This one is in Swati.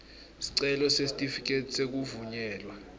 sicelo sesitifiketi sekuvunyelwa